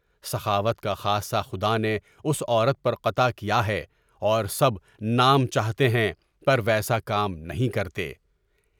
سخاوت کا خاصہ خدا نے اس عورت پر قطع کیا ہے اور سب نام چاہتے ہیں، پر ویسا کام نہیں کرتے۔